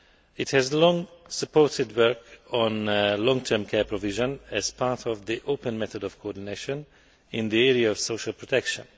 It has long supported work on long term care provision as part of the open method of coordination in the area of social protection.